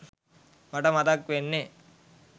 මට මතක් වෙන්නෙ